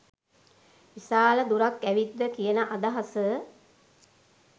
විශාල දුරක් ඇවිත්ද කියන අදහස